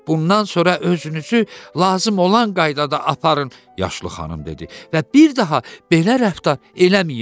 Bundan sonra özünüzü lazım olan qaydada aparın, yaşlı xanım dedi və bir daha belə rəftar eləməyin.